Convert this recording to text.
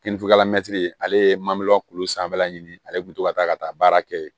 Kinifinila mɛtiri ale ye maliɲɔn kolo sanfɛla ɲini ale bɛ to ka taa ka taa baara kɛ yen